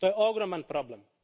To je ogroman problem.